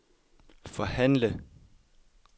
forhandle